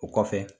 O kɔfɛ